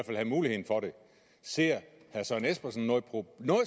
have muligheden for det ser herre søren espersen noget